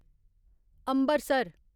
Ambarsar